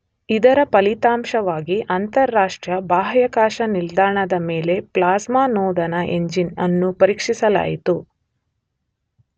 ಇದರ ಫಲಿತಾಂಶವಾಗಿ ಅಂತರರಾಷ್ಟ್ರೀಯ ಬಾಹ್ಯಾಕಾಶ ನಿಲ್ದಾಣದ ನ ಮೇಲೆ ಪ್ಲ್ಯಾಸ್ಮ ನೋದನ ಎಂಜಿನ್ ಅನ್ನು ಪರೀಕ್ಷಿಸಲಾಯಿತು.